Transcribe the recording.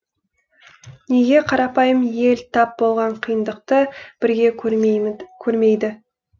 неге қарапайым ел тап болған қиындықты бірге көрмейді